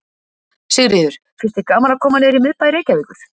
Sigríður: Finnst þér gaman að koma niður í miðbæ Reykjavíkur?